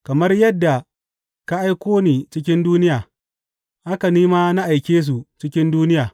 Kamar yadda ka aiko ni cikin duniya, haka ni ma na aike su cikin duniya.